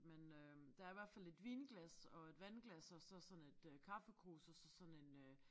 Men øh der i hvert fald et vinglas og et vandglas og så sådan et øh kaffekrus og så sådan en øh